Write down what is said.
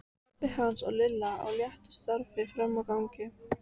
Pabbi hans og Lilla á léttu skrafi frammi á gangi.